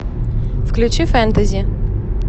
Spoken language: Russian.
включи фэнтэзи